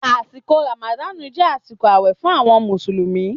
Àsíkò ràmàdànú jẹ àsíkò àwẹ fún awon músùlúmi